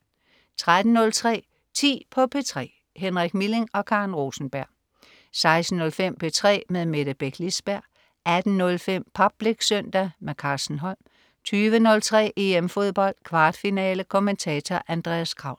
13.03 10 på P3. Henrik Milling og Karen Rosenberg 16.05 P3 med Mette Beck Lisberg 18.05 Public Søndag. Carsten Holm 20.03 EM Fodbold. Kvartfinale. Kommentator: Andreas Kraul